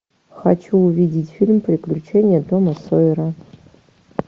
хочу увидеть фильм приключения тома сойера